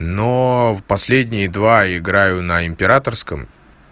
но в последние два играю на императорском